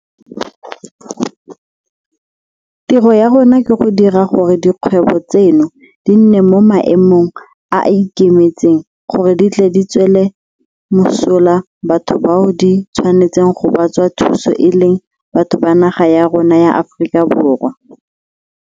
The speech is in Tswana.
Tiro ya rona ke go dira gore dikgwebo tseno di nne mo maemong a a ikemetseng gore di tle di tswele mosola batho bao di tshwanetseng go ba tswa thuso e leng batho ba naga ya rona ya Aforika Borwa.